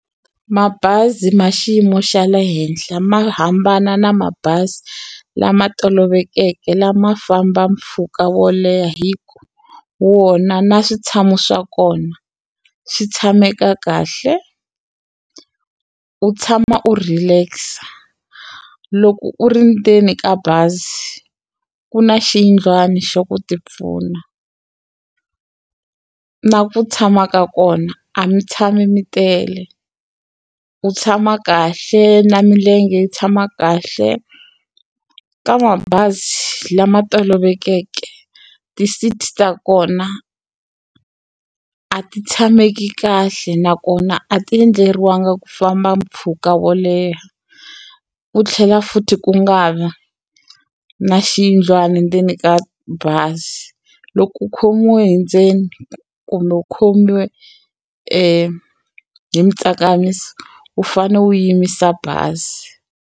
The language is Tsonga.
Mabazi ma xiyimo xa le henhla ma hambana na mabazi lama tolovelekeke lama famba mpfhuka wo leha hi ku wona na switshamo swa kona swi tshameka kahle u tshama u relax-a loko u ri ndzeni ka bazi ku na xiyindlwana xa ku tipfuna na ku tshama ka kona a mi tshami mi tele u tshama kahle na milenge yi tshama kahle ka mabazi lama tolovelekeke ti-seat ta kona a ti tshameki kahle nakona a ti endleriwangi ku famba mpfhuka wo leha ku tlhela futhi ku nga vi na xiyindlwana endzeni ka bazi loko u khomiwe hi ndzeni kumbe u khomiwe hi tsakamisa u fane u yimisa bazi.